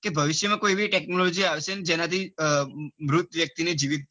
કે ભવિષ્ય માં એવી કોઈક technology આવશે કે જેના થી મૃત વ્યક્તિ ને જીવિત